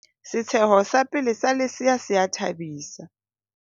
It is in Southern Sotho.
setsheho sa pele sa lesea se a thabisa